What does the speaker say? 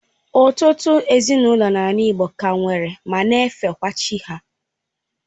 Ụtụtụ ezinaụlọ n'ala igbo ka nwere ma na efekwa chi ha.